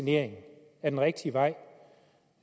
ikke